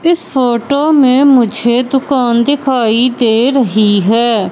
इस फोटो में मुझे दुकान दिखाई दे रही है।